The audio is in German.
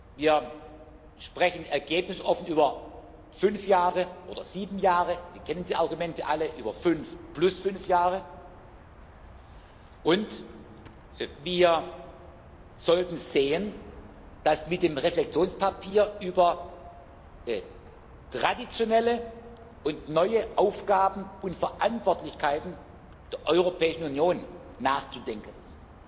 Wir sprechen ergebnisoffen über fünf Jahre oder sieben Jahre wir kennen die Argumente alle über fünf plus fünf Jahre, und wir sollten sehen, dass mit dem Reflexionspapier über traditionelle und neue Aufgaben und Verantwortlichkeiten in der Europäischen Union nachzudenken ist.